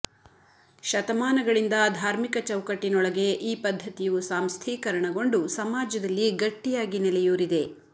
ಶತಮಾನಗಳಿಂದ ಧಾರ್ಮಿಕ ಚೌಕಟ್ಟಿನೊಳಗೆ ಈ ಪದ್ಧತಿಯು ಸಾಂಸ್ಥೀಕರಣಗೊಂಡು ಸಮಾಜದಲ್ಲಿ ಗಟ್ಟಿಯಾಗಿ ನೆಲೆಯೂರಿದೆ